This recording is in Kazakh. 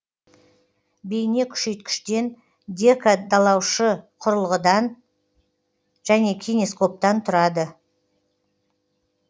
бейнекүшейткіштен декодалаушы құрылғыдан және кинескоптан тұрады